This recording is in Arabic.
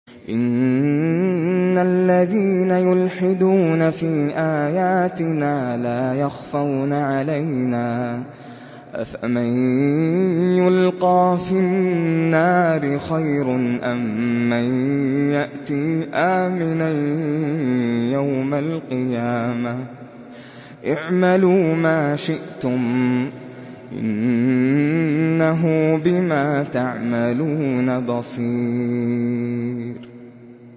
إِنَّ الَّذِينَ يُلْحِدُونَ فِي آيَاتِنَا لَا يَخْفَوْنَ عَلَيْنَا ۗ أَفَمَن يُلْقَىٰ فِي النَّارِ خَيْرٌ أَم مَّن يَأْتِي آمِنًا يَوْمَ الْقِيَامَةِ ۚ اعْمَلُوا مَا شِئْتُمْ ۖ إِنَّهُ بِمَا تَعْمَلُونَ بَصِيرٌ